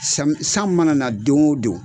San san mana don o don